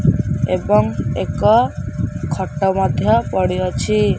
ଏବଂ ଏକ ଖଟ ମଧ୍ୟ ପଡ଼ି ଅଛି।